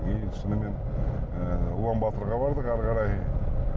и шынымен ы улан батыорға бардық ары қарай